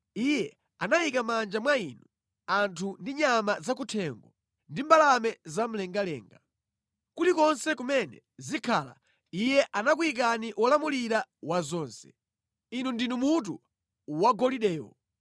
Iye anayika mʼmanja mwanu anthu ndi nyama zakuthengo ndi mbalame zamlengalenga. Kulikonse kumene zikhala, iye anakuyikani wolamulira wa zonse. Inu ndinu mutu wagolidewo.